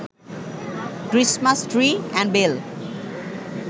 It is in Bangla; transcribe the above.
Christmas tree and bell